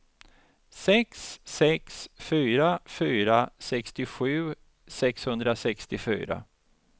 sex sex fyra fyra sextiosju sexhundrasextiofyra